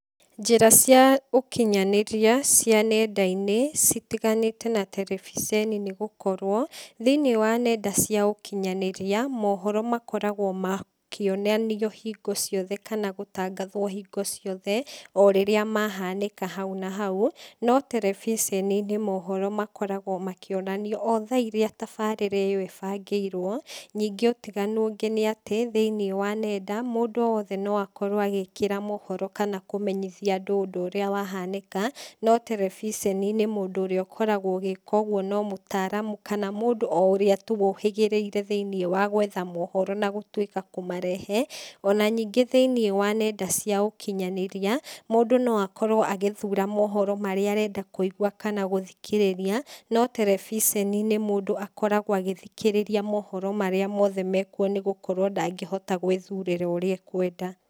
Njĩra cia ũkinyanĩria, cia nenda-inĩ, citiganĩte na terebiceni nĩgũkorwo, thĩiniĩ wa nenda cia ũkinyanĩrĩa, mohoro makoragwo makĩonanio hingo ciothe kana gũtangathwo hingo ciothe, o rĩrĩa mahanĩka hau na hau, no terebiceni-inĩ mohoro makoragwo makĩonanio o tha iria tabarĩra ĩyo ĩbangĩirwo, ningĩ ũtiganu ũngĩ nĩatĩ, thiĩniĩ wa nenda, mũndũ o wothe no akorwo agĩkĩra mohoro kana kũmenyithia andũ ũndũ ũrĩa wahanĩka, no terebiceni-inĩ mũndũ ũrĩa ũkoragwo ũgĩka ũguo no mũtaramu kana mũndũ ũrĩa tu ũhĩgĩrĩire thĩiniĩ wa gwetha mohoro na gũtuĩka kũmarehe, ona ningĩ thĩiniĩ wa nenda cia ũkinyanĩrĩa, mũndũ no akorwo agĩthura mohoro marĩa arenda kũigua kana gũthikĩrĩra, no terebiceni-inĩ, mũndũ akoragwo agĩthikĩrĩria mohoro marĩa mothe mekuo nĩgũkorwo ndagĩhota gwĩthurĩra ũrĩa e kwenda.